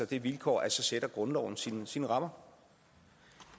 det vilkår at så sætter grundloven sine sine rammer